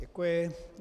Děkuji.